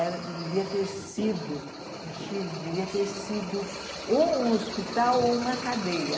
Era devia ter sido, no Chile, devia ter sido ou um hospital ou uma cadeia.